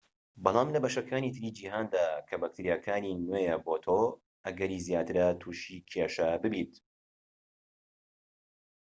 بەڵام لە بەشەکانی تری جیهاندا کە بەکتریاکانی نوێیە بۆ تۆ ئەگەری زیاترە توشی کێشە بیت